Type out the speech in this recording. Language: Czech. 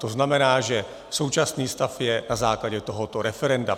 To znamená, že současný stav je na základě tohoto referenda.